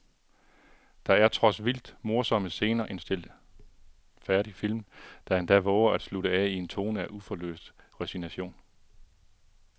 Der er trods vildt morsomme scener en stilfærdig film, der endda vover at slutte af i en tone af uforløst resignation.